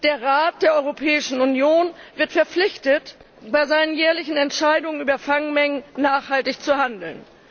Der Rat der Europäischen Union wird verpflichtet, bei seinen jährlichen Entscheidungen über Fangmengen nachhaltig zu handeln.